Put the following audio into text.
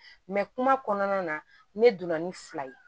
kuma kɔnɔna na ne donna ni fila ye